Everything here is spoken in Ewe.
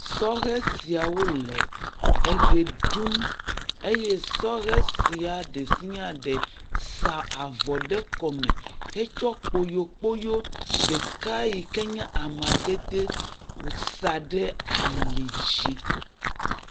Sɔhe siawo le eʋe ɖum eye sɔhe sia ɖe sia ɖe sa avɔ ɖe kɔme hetsɔ kpoyokpoyo ɖeka yi ken ye amadede sa ɖe ali dzi.